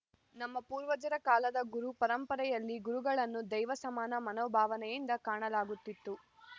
ನಮ್ಮ ಪೂರ್ವಜರ ಕಾಲದ ಗುರು ಪರಂಪರೆಯಲ್ಲಿ ಗುರುಗಳನ್ನು ದೈವ ಸಮಾನ ಮನೋಭಾವನೆಯಿಂದ ಕಾಣಲಾಗುತ್ತಿತ್ತು